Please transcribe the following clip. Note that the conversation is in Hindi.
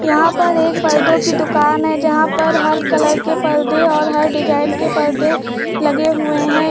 यहां पर एक पर्दो की दुकान है जहां पर हल कलर के पर्दे और हर डिजाइन के पर्दे लगे हुए हैं।